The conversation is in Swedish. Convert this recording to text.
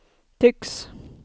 tycks